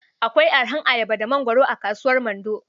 Akwai arahar ayaba da mangwaro a kasuwar Mando.